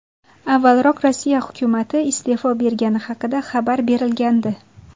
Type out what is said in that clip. Avvalroq Rossiya hukumati iste’fo bergani haqida xabar berilgandi .